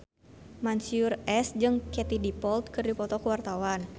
Mansyur S jeung Katie Dippold keur dipoto ku wartawan